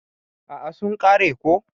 A'a sun kare ko.